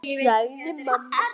sagði mamma sposk.